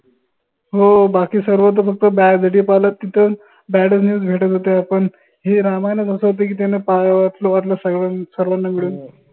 हो बाकी सर्वत फक्त bad पाहाल तिथं bad च news भेटत होत्या पन हे ramayan च असं होत की सर्वांना मिळून